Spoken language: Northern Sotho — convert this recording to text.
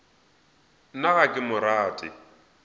nna ga ke mo rate